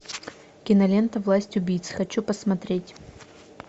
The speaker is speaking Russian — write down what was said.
кинолента власть убийц хочу посмотреть